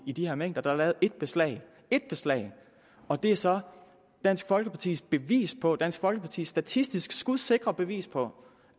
i de her mængder der er lavet ét beslag ét beslag og det er så dansk folkepartis bevis på dansk folkepartis statistisk skudsikre bevis på